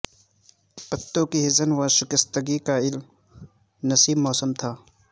پتوں کی حزن و شکتگی کا الم نصیب موسم تھا